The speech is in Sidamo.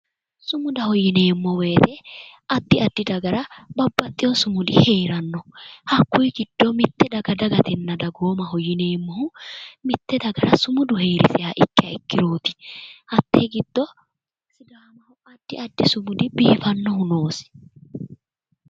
Sumudaho yineemmo woyte addi addi dagara babbaxxewo sumudi hee'ranno hakkuy giddo mitte dagatenna dagoomaho yineemmohu mitte dagara sumudu hee'riseha ikkiha ikkirooti hattee giddo addi addi sumudi biifannohu noosi